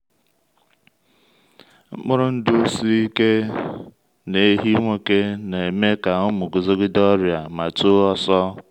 mkpụrụ ndụ siri ike n’ehi nwoke na-eme ka ụmụ guzogide ọrịa ma too ọsọ.